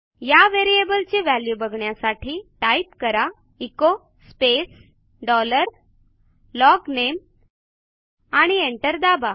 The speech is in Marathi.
या व्हेरिएबल ची व्हॅल्यू बघण्यासाठी टाईप करा एचो स्पेस डॉलर LOGNAMEआणि एंटर दाबा